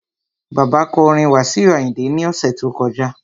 Bàbá kọ orin Wasiu Ayinde ní ọ̀sẹ̀ tó kọjá